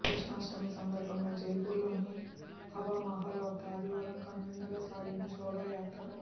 కృష్ణాష్టమి సందర్భంగా జైపూర్లోని హవామహల్ వద్ద ఆదివారం కనువిందుగా సాగిన శోభాయాత్ర